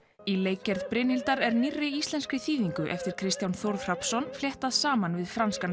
í leikgerð Brynhildar er nýrri íslenskri þýðingu eftir Kristján Þórð Hrafnsson fléttað saman við franskan